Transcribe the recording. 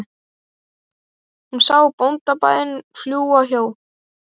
Hún sá bóndabæina fljúga hjá